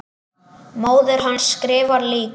Móðir hans skrifar líka.